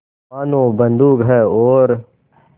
मानो बंदूक है और